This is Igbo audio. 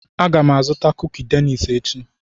Aga m azụta kuki Danish echi.